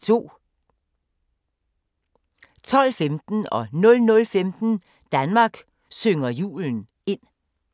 12:15: Danmark synger julen ind 00:15: Danmark synger julen ind